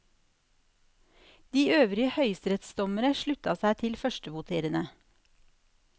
De øvrige høyesterettsdommere slutta seg til førstevoterende.